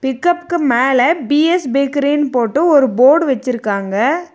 பிக்கப்புக்கு மேல பி_எஸ் பேக்கரினு போட்டு ஒரு போர்டு வெச்சிருக்காங்க.